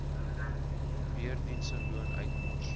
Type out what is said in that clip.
verdiende loon uitmors